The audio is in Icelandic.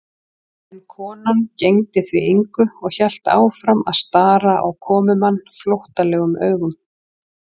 En konan gegndi því engu og hélt áfram að stara á komumann flóttalegum augum.